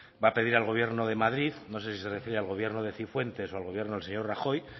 va a pedir al gobierno de madrid no sé si se refiere al gobierno de cifuentes o al gobierno del señor rajoy